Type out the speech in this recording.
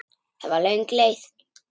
Það var löng leið.